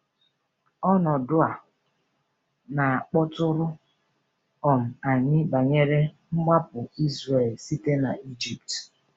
Ọnọdụ a na-akpọtụrụ um anyị banyere mgbapụ Izrel site n’Egypt.